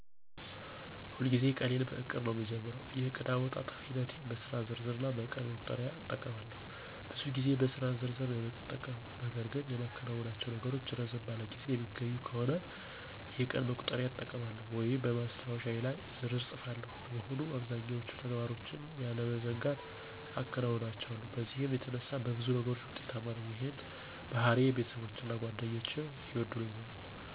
ሁልጊዜም ቀኔን በዕቅድ ነዉ የምጀምረው። የእቅድ አወጣጥ ሂደቴም በስራ ዝርዝር እና በቀን መቁጠሪያ እጠቀማለሁ። ብዙ ጊዜ በስራ ዝርዝር ነዉ የምጠቀመው .ነገር ግን የማከናውናቸው ነገሮች ረዘም ባለ ጊዜ የሚገኙ ከሆነ የቀን መቁጠሪያ እጠቀማለሁ ወይም በማስታወሻዬ ላይ በዝርዝር እፅፋቸዋለሁ። በመሆኑም አብዛኛዎቹን ተግባሮችን ያለመዘንጋት አከናውናቸዋለሁ በዚህም የተነሳ በብዙ ነገሮች ውጤታማ ነኝ ይህንንም ባህሪዬን ቤተሰቦቼና ጓደኞቼ ይወዱልኛል።